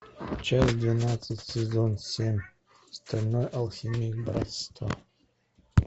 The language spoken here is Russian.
часть двенадцать сезон семь стальной алхимик братство